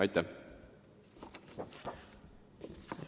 Aitäh!